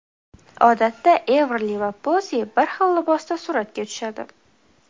Odatda Everli va Pozi bir xil libosda suratga tushadi.